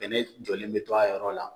jɔlen bɛ to a yɔrɔ la.